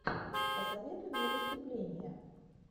посоветуй мне выступления